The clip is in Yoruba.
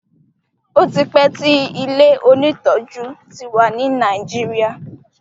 otipe tí ilẹ òní tọjú tí wá ní Nàìjíríà.